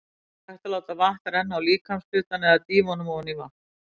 Þá er hægt að láta vatn renna á líkamshlutann eða dýfa honum ofan í vatn.